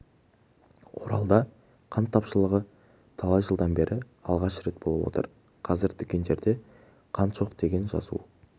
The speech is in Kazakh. оралда қант тапшылығы талай жылдан бері алғаш рет болып отыр қазір дүкендерде қант жоқ деген жазу